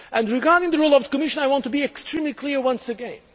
Regarding the role of the Commission, I want to be extremely clear once again.